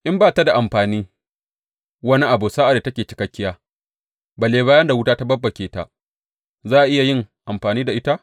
In ba ta da amfanin wani abu sa’ad da take cikakkiya, balle bayan da wuta ta babbake ta, za a iya yin amfani da ita?